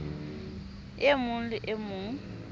e mong le e mong